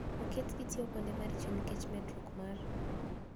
Oketgi tiyo kuonde maricho nikech medruok mar